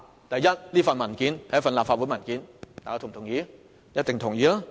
第一，有關文件屬於立法會文件，這一點大家一定同意。